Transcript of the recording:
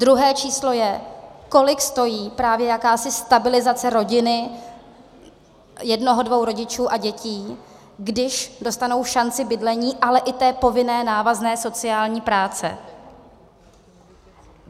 Druhé číslo je, kolik stojí právě jakási stabilizace rodiny, jednoho dvou rodičů a dětí, když dostanou šanci bydlení, ale i té povinné návazné sociální práce.